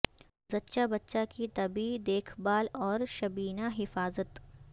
زچہ بچہ کی طبی دیکھ بھال اور شبینہ حفاظت